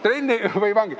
Trenni või vangi ...